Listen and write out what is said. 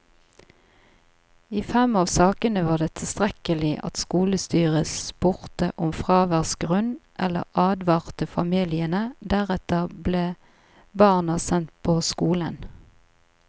I fem av sakene var det tilstrekkelig at skolestyret spurte om fraværsgrunn eller advarte familiene, deretter ble barna sendt på skolen.